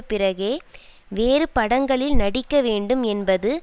பிறகே வேறு படங்களில் நடிக்க வேண்டும் என்பது